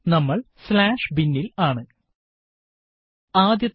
നമ്മള് binവിവരണം slash bin ൽ ആണ് ആദ്യത്തെ